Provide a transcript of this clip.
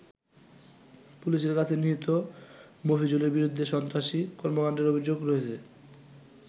পুলিশের কাছে নিহত মফিজুলের বিরুদ্ধে সন্ত্রাসী কর্মকান্ডের অভিযোগ রয়েছে।